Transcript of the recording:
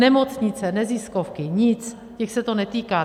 Nemocnice, neziskovky, nic, těch se to netýká.